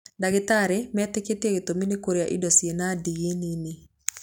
Ndagĩtarĩ metĩkĩtie gĩtumi nĩ kũrĩa irio cina ndigi nini.